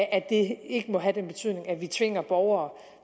at det ikke må have den betydning at vi tvinger borgere